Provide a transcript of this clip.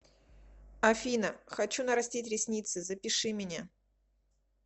афина хочу нарастить ресницы запиши меня